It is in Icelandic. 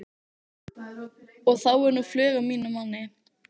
Og þá er nú flug á mínum manni.